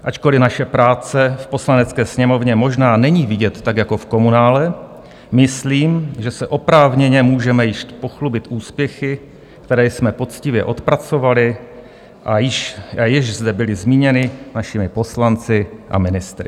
Ačkoliv naše práce v Poslanecké sněmovně možná není vidět tak jako v komunále, myslím, že se oprávněně můžeme již pochlubit úspěchy, které jsme poctivě odpracovali a jež zde byly zmíněny našimi poslanci a ministry.